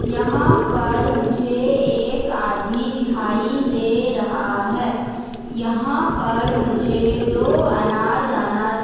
यहाँ पर मुझे एक आदमी दिखाई दे रहा है यहाँ पर मुझे दो अनारदाना --